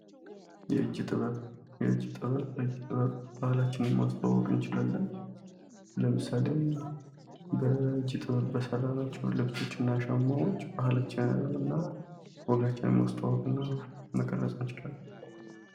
የእጅ ጥበብ የእጅ ጥበብ በእጅ ጥበብ ባህላችንን ማስታወቅ እንችላለን። ለምሳሌ በእጅ ጥበብ በሰራናቸው ልብሶች እና ጫማዎች ባህላችን እና ወጋችንን ማስታወቅ መቅረዝ እንችላለን።